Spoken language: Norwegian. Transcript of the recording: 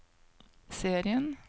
serien